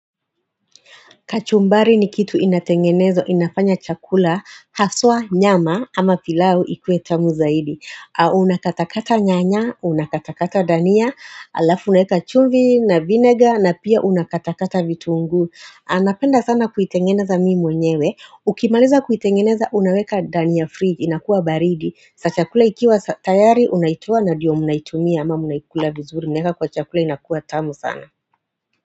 Kachumbari ni kitu inatengeneza, inafanya chakula, haswa nyama ama pilau ikuwe tamu zaidi unakatakata nyanya, unakatakata dania, alafu unaeka chumvi na vinega na pia unakatakata vitungu napenda sana kuitengeneza mimi mwenyewe, ukimaliza kuitengeneza unaweka ndani ya fridge, inakuwa baridi Sasa kula ikiwa tayari unaitoa na ndiyo munaitumia ama muinakula vizuri, unaweka kwa chakula inakuwa tamu sana.